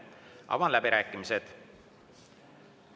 Avan läbirääkimised.